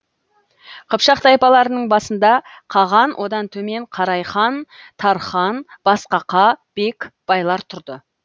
қыпшақ тайпаларының басында қаған одан төмен қарай хан тархан басқақа бек байлар тұрды